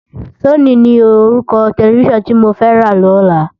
Sóni ni órúkò tèlèfisán ti mó fè rá lòlá